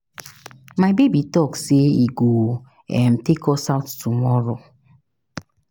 My baby talk say he go um take us out tomorrow.